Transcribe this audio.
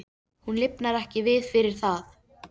Hún lifnar ekki við fyrir það.